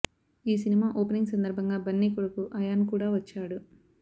ఈ cinema opening సందర్భంగా బన్నీ కొడుకు అయాన్ కూడా వచ్చాడు